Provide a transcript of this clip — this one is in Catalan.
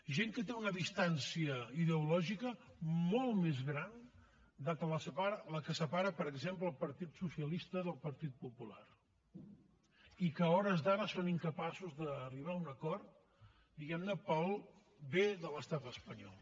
gent que té una distància ideològica molt més gran de la que separa per exemple el partit socialista del partit popular i que a hores d’ara són incapaços d’arribar a un acord diguem ne pel bé de l’estat espanyol